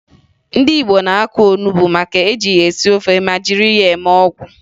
Ndị Igbo na-akụ onubo maka e ji ya esi ofe ma jiri ya eme ọgwụ